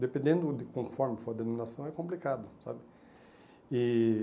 dependendo de conforme for a denominação, é complicado, sabe? E